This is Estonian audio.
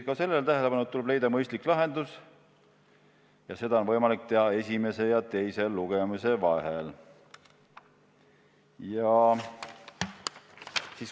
Tuleb leida mõistlik lahendus ja seda on võimalik teha esimese ja teise lugemise vahel.